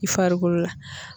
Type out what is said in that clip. I farikolo la.